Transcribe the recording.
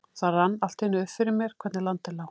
Það rann allt í einu upp fyrir mér hvernig landið lá.